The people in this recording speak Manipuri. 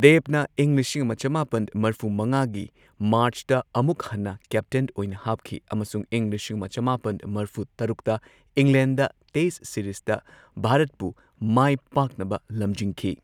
ꯗꯦꯕꯅ ꯏꯪ ꯂꯤꯁꯤꯡ ꯑꯃ ꯆꯃꯥꯄꯟ ꯃꯔꯐꯨ ꯃꯉꯥꯒꯤ ꯃꯥꯔꯆꯇ ꯑꯃꯨꯛ ꯍꯟꯅ ꯀꯦꯞꯇꯦꯟ ꯑꯣꯏꯅ ꯍꯥꯞꯈꯤ ꯑꯃꯁꯨꯡ ꯏꯪ ꯂꯤꯁꯤꯡ ꯑꯃ ꯆꯃꯥꯄꯟ ꯃꯔꯐꯨ ꯇꯔꯨꯛꯇ ꯏꯪꯂꯦꯟꯗ ꯇꯦꯁꯠ ꯁꯤꯔꯤꯖꯇ ꯚꯥꯔꯠꯄꯨ ꯃꯥꯢꯄꯥꯛꯅꯕ ꯂꯝꯖꯤꯡꯈꯤ꯫